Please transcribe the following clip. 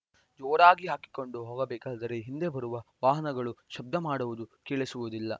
ಜೋರಾಗಿ ಹಾಕಿಕೊಂಡು ಹೋಗಬೇಕಾದರೆ ಹಿಂದೆ ಬರುವ ವಾಹನಗಳು ಶಬ್ದ ಮಾಡುವುದು ಕೇಳಿಸುವುದಿಲ್ಲ